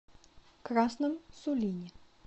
красном сулине